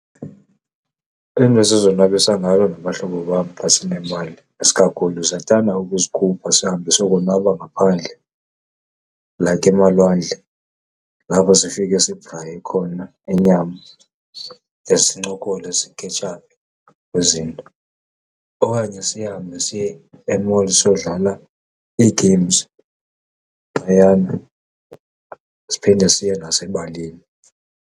Iinto esizonwabisa ngayo nabahlobo bam xa sinemali isikakhulu siyathanda ukuzikhupha sihambe siyokonwaba ngaphandle like emalwandle, lapho sifike sibhraye khona inyama de sincokole sikhetshaphe kwizinto. Okanye sihambe siye e-mall siyodlala ii-games phayana, siphinde siye nasebalini.